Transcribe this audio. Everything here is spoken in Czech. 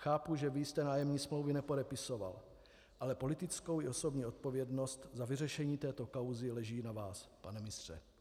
Chápu, že vy jste nájemní smlouvy nepodepisoval, ale politická i osobní odpovědnost za vyřešení této kauzy leží na vás, pane ministře.